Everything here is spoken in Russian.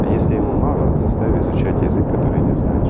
а если ему мало заставь изучать язык который не знаешь